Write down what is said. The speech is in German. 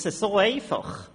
Ist es so einfach?